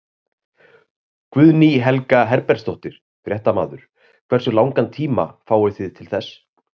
Guðný Helga Herbertsdóttir, fréttamaður: Hversu langan tíma fáið þið til þess?